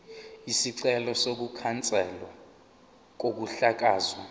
isicelo sokukhanselwa kokuhlakazwa